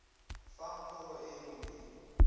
fang pholo e e molemo